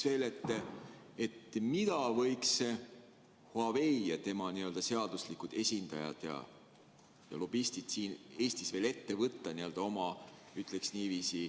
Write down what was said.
Aga küsin veel, mida võiks Huawei ja tema n-ö seaduslikud esindajad ja lobistid siin Eestis veel ette võtta, ütleks niiviisi, oma huvide kaitseks.